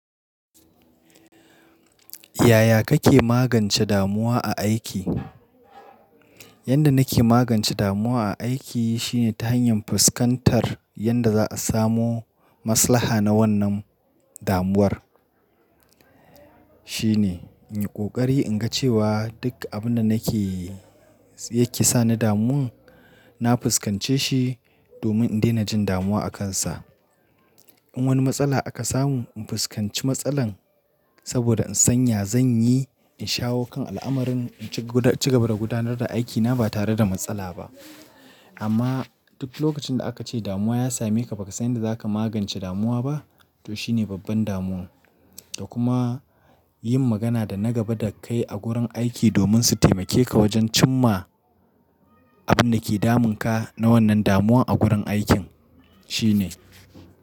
Yaya kake magance damuwa a aiki? Yanda nake magance damuwa a aiki shine ta hanyar fuskantar yadda za a samo maslaha na wannan damuwar. Shine in yi ƙoƙari in ga cewa duk abin da nake, yake sani damuwan, na fuskance shi domin in daina jin damuwa akansa. In wani matsala aka samu, in fuskanci matsalan saboda in san ya zan yi in shawo kan al'amarin in ci gaba da gudanar da aikina ba tare da matsala ba. Amma duk lokacin da aka ce damuwa ya same ka baka san yadda zaka magance damuwa ba, to shine babban damuwa. Da kuma yin magana da na gaba da kai a gurin aiki domin su taimake ka wajen cim ma abin da ke damun ka na wannan damuwa a gurin aikin shine.